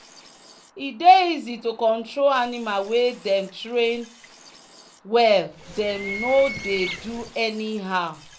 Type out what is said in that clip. e dey easy to control animal wey dem train wellthem no dey do anyhow